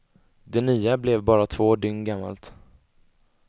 Det nya blev bara två dygn gammalt.